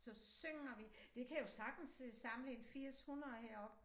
Så synger vi det kan jo sagtens sidde samlet en 80 100 heroppe